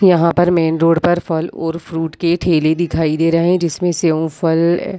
यहाँ पर main road पर फल और फ्रूट के ठेले दिखाई दे रहे है जिसमें सेव फल --